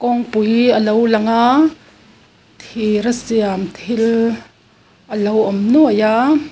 kawngpui a lo lang aa thir a siam thil a lo awm nuai a.